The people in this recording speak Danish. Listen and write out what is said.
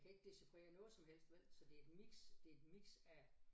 Jeg kan ikke decifrere noget som helst vel så det er et mix det er et mix af